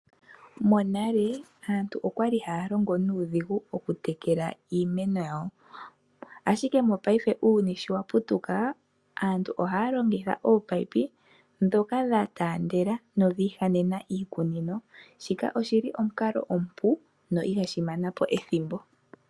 Monale aantu okwa li haya longo nuudhigu okutekela iimeno yawo. Ashike mopaife uuyuni sho wa putuka aantu ohaya longitha ominino dhoka dha taandela nodha ihanena iikunino. Shika oshi li omukalo omupu na ihashi mana po ethimbo.